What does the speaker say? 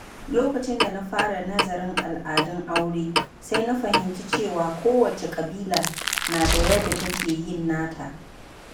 Lokacin da na fara nazarin al’adun aure, sai na fahimci cewa kowace ƙabila na da yadda take yin nata.